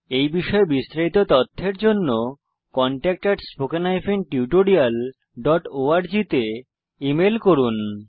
এই বিষয়ে বিস্তারিত তথ্যের জন্য contactspoken tutorialorg তে ইমেল করুন